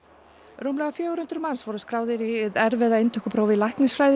rúmlega fjögur hundruð manns voru skráðir í hið erfiða inntökupróf í læknisfræði í